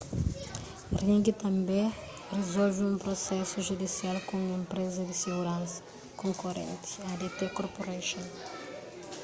ring tanbê rizolve un prusesu judisial ku un enpreza di siguransa konkorenti adt corporation